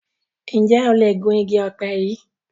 Njé o lẹ Gún ìgi òpe yí?